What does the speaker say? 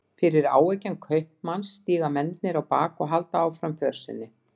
Fyrir áeggjan kaupmanns stíga mennirnir á bak og halda áfram för sinni.